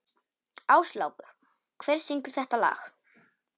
Áslákur, hver syngur þetta lag?